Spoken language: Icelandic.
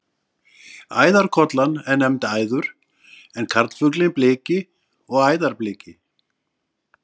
Æðarkollan er nefnd æður en karlfuglinn bliki og æðarbliki.